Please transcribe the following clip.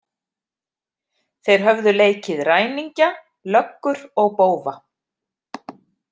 Þeir höfðu leikið ræningja, löggur og bófa.